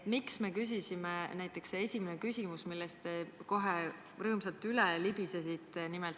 Näiteks esimene küsimus, millest te kohe rõõmsalt üle libisesite.